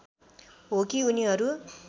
हो कि उनीहरू